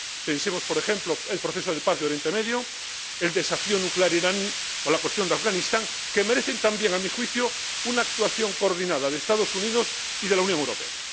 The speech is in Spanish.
Pensemos, por ejemplo, en el proceso de paz de Oriente Medio, el desafío nuclear iraní o la cuestión de Afganistán, que merecen también, a mi juicio, una actuación coordinada de los Estados Unidos y de la Unión Europea.